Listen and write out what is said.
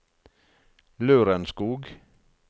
Lørenskog